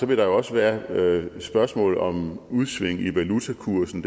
vil der også være spørgsmål om udsving i valutakursen